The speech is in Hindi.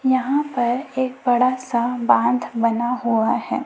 यहां पर एक बड़ा सा बांध बना हुआ है।